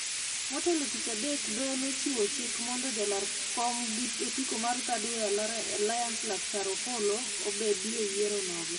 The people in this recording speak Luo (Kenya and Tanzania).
Motelo tich adek doho ne ochiwo chik mondo jalar kom gi otiko mar Thirdway Alliance Laktar Opolo obedi e yiero nogo